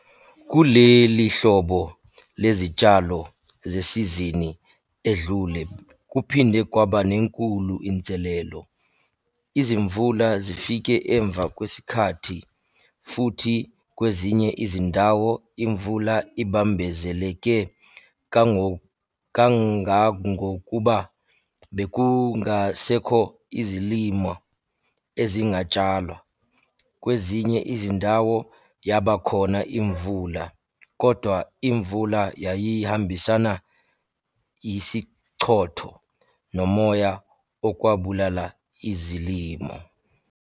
Kule lihlobo lezitshalo zesizini edlule kuphinde kwaba nenkulu inselelo. Izimvula zifike emva kwesikhathi, futhi kwezinye izindawo imvula ibambezeleke kakngangokuba bekungasekho izilimo ezingatshalwa. Kwezinye izindawo, yaba khona imvula, kodwa imvula yayihambisana yisichotho nomoya okwabulala izilimo.